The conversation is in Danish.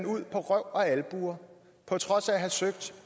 ud på røv og albuer på trods af at have søgt